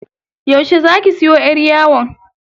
Yaushe zaki siyo yar yawon?